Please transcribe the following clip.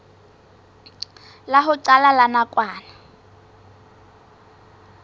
la ho qala la nakwana